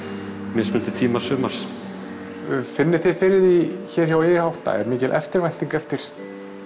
mismunandi tíma sumars finnið þið fyrir því hér hjá i átta er mikil eftirvænting eftir